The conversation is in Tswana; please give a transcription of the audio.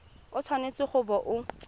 o tshwanetse go bo o